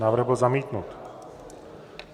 Návrh byl zamítnut.